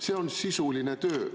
See on sisuline töö.